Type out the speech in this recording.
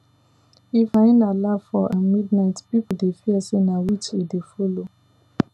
if hyena laugh for um midnight people dey fear say na witch e dey follow